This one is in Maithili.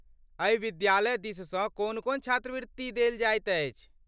एहि विद्यालय दिससँ कोन कोन छात्रवृत्ति देल जाइत अछि?